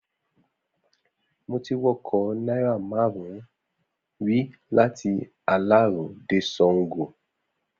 Mo ti wọkọ̀ náírà márùn-ún rí láti Aláró dé Sáńgo.